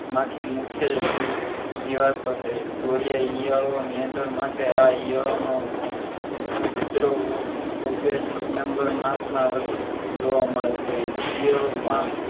માંથી મુખ્ય જીવ જીવાત માટે ઓડિયા ઇયળો નિયંત્રણ માટે આ ઇયળો નો ઉપદ્રવ ઑ august september માસ માં જોવા મળે છે ઈયળો પણ